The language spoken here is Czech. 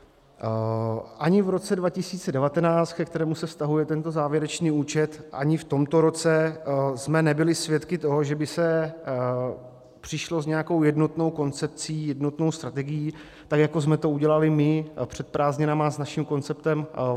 Ani v roce 2019, ke kterému se vztahuje tento závěrečný účet, ani v tomto roce jsme nebyli svědky toho, že by se přišlo s nějakou jednotnou koncepcí, jednotnou strategií tak, jako jsme to udělali my před prázdninami s naším konceptem